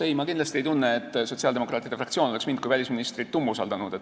Ei, ma kindlasti ei tunne, et sotsiaaldemokraatide fraktsioon oleks mind kui välisministrit umbusaldanud.